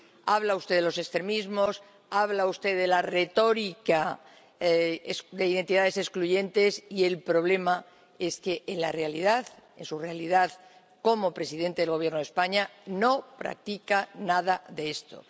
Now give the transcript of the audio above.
Habla usted de los extremismos, habla usted de la retórica de identidades excluyentes, y el problema es que, en la realidad, en su realidad como presidente del Gobierno de España, no practica nada de esto.